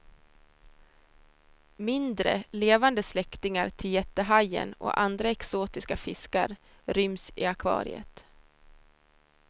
Mindre, levande släktingar till jättehajen och andra exotiska fiskar ryms i akvariet.